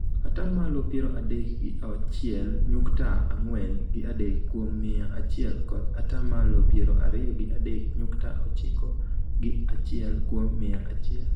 ata malo piero adek gi achiel nyukta ang'wen gi adek kuom mia achiel kod ata malo piero ariyo gi adek nyukta ochiko gi achiel kuom mia achiel.